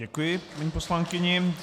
Děkuji paní poslankyni.